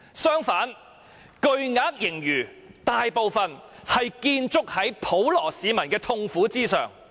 相反，巨額盈餘大部分是建築在普羅市民的痛苦上。